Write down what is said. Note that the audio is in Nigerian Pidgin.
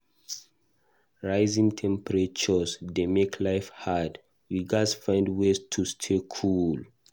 Rising temperatures dey make life hard; we gatz find ways to stay cool.